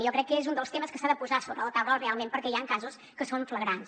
jo crec que és un dels temes que s’ha de posar sobre la taula realment perquè hi han casos que són flagrants